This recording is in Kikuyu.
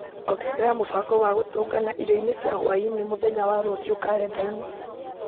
ongerera mũbango wa gũtũngana irio-inĩ cia hwaĩ-inĩ mũthenya wa rũciũ karenda-inĩ